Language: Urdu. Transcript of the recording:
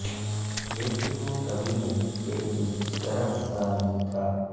لیکن وہ کبھی نہیں کہ یہ کس طرح پتہ نہیں تھا